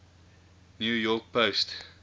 new york post